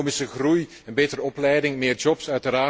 Economische groei, betere opleiding, meer jobs.